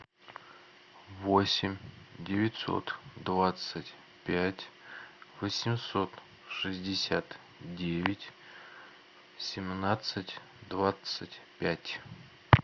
восемь девятьсот двадцать пять восемьсот шестьдесят девять семнадцать двадцать пять